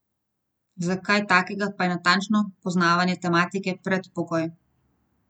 Za kaj takega pa je natančno poznavanje tematike predpogoj.